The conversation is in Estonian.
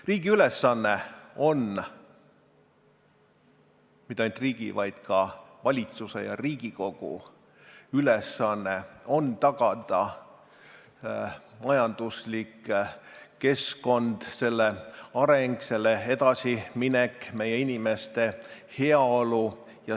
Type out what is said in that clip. Riigi ülesanne on, ja mitte ainult riigi, vaid ka valitsuse ja Riigikogu ülesanne on tagada majanduskeskkond, selle areng, selle edasiminek, meie inimeste heaolu.